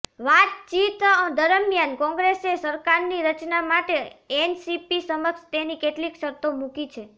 વાતચીત દરમિયાન કોંગ્રેસે સરકારની રચના માટે એનસીપી સમક્ષ તેની કેટલીક શરતો મૂકી છે